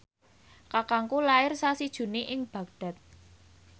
kakangku lair sasi Juni ing Baghdad